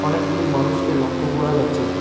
অনেকগুলি মানুষকে লক্ষ্য করা যাচ্ছে।